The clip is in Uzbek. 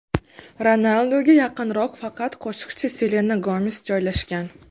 Ronalduga yaqinroq faqat qo‘shiqchi Selena Gomes joylashgan.